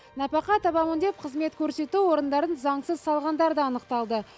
нәпақа табамын деп қызмет көрсету орындарын заңсыз салғандар да анықталды